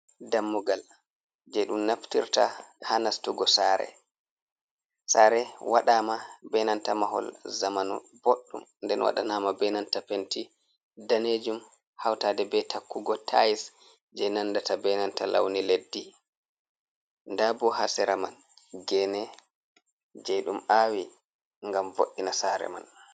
Dammugal je ɗum naftirta ha nastugo sare. Sare waɗama be nanta mahol zamanu boɗɗum nden waɗanama be nanta penti danejum hautade be takkugo tais je nandata be nanta launi leddi. Nda bo ha sera man gene je ɗum awi ngam vo'ina sare man.